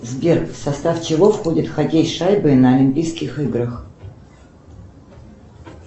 сбер в состав чего входит хоккей с шайбой на олимпийских играх